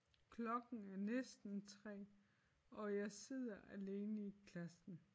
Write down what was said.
Klokken er næsten 3 og jeg sidder alene i klassen